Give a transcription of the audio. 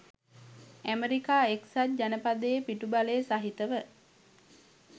America එක්සත් ජනපදයේ පිටුබලය සහිතව